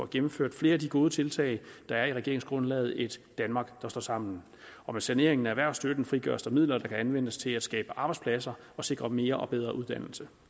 gennemfører flere af de gode tiltag der er i regeringsgrundlaget et danmark der står sammen med saneringen af erhvervsstøtten frigøres der midler der kan anvendes til at skabe arbejdspladser og sikre mere og bedre uddannelse